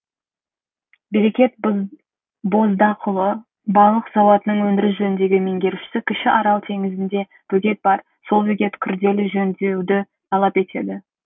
берекет боздақұлы балық зауытының өндіріс жөніндегі меңгерушісі кіші арал теңізінде бөгет бар сол бөгет күрделі жөндеуді талап етеді